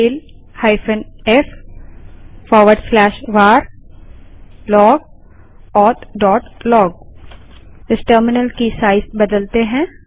tail f varlogauthlog इस terminal की size बदलते हैं